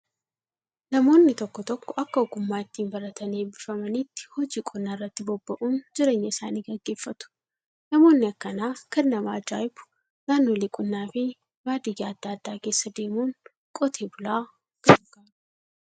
Namoonni tokko tokko akka ogummaa ittiin baratanii eebbifamaniitti hojii qonnaa irratti bobba'uun jireenya isaanii gaggeeffatu. Namoonni akkanaa kan nama ajaa'ibu naannolee qonnaa fi baadiyyaa adda addaa keessa deemuun qote bulaa gargaaru.